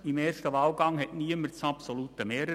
Im ersten Wahlgang erreichte niemand das absolute Mehr.